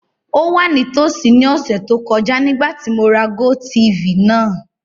O wa nitosi ni ọsẹ to kọja nigbati mo ra GoTv naa.